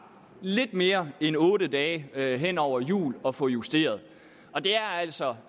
lidt mere end otte dage hen over jul at få justeret det er altså